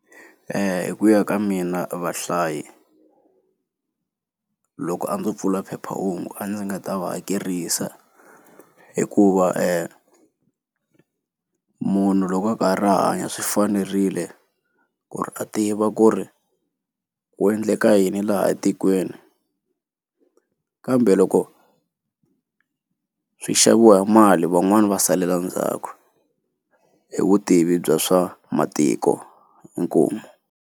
hi ku ya ka mina vahlayi loko a ndzo pfula phephahungu a ndzi nga ta va hakerisa hikuva munhu loko a ka ha ri hanya swi fanerile ku ri a tiva ku ri ku endleka yini laha etikweni kambe loko swi xaviwa hi mali van'wani va salela ndzhaku hi vutivi bya swa matiko, inkomu.